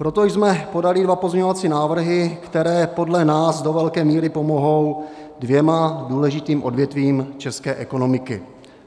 Proto jsme podali dva pozměňovací návrhy, které podle nás do velké míry pomohou dvěma důležitým odvětvím české ekonomiky,